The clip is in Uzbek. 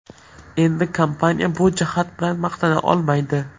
Endi kompaniya bu jihat bilan maqtana olmaydi.